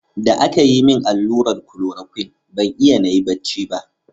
Da aka yi min allurar klorokwin, ban iya nayi bacci ba.